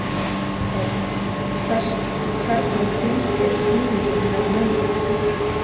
Hödd: Hvernig finnst þér sýningin hennar mömmu?